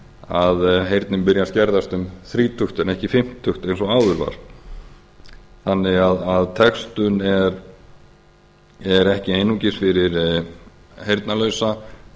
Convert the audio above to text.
að heyrnin byrji að skerðast um þrítugt en ekki fimmtugt eins og áður var þannig að textun er ekki einungis fyrir heyrnarlausa